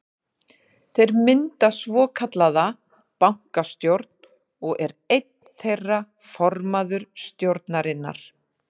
Þeir mynda svokallaða bankastjórn og er einn þeirra formaður stjórnarinnar.